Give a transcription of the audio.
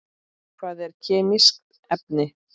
Hvað eru kemísk efni?